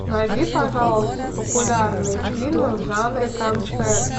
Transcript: найди пожалуйста популярные фильмы в жанре концерт